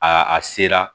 A a sera